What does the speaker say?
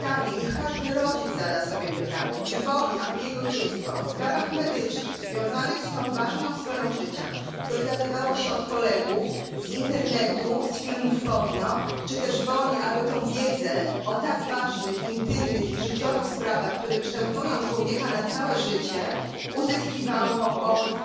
Niech każdy rodzic zada sobie pytanie, czy woli, aby jego dziecko o sprawach medycznych związanych z tą ważną sferą życia dowiadywało się od kolegów, z internetu, z filmów porno czy też woli, aby wiedzę o tak ważnych, intymnych i życiowych sprawach, które kształtują człowieka na całe życie, uzyskiwało od